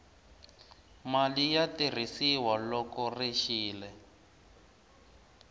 mali ya tirhisiwa loko ri xile